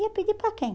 Ia pedir para quem?